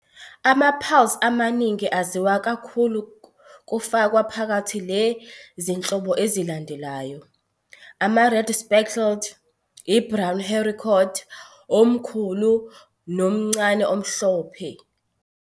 Ama-pulse amaningi aziwa kakhulu kufakwa phakathi le zinhlobo ezilandelayo- Ama-Red speckled, i-brown haricot, omkhulu nomncane omhlophe.